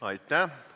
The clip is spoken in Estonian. Aitäh!